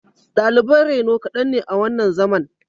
Daliban reno kaɗan ne a wannan zaman